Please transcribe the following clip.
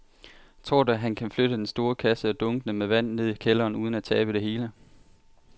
Tror du, at han kan flytte den store kasse og dunkene med vand ned i kælderen uden at tabe det hele?